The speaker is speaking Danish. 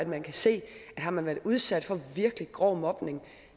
man kan se at har man været udsat for virkelig grov mobning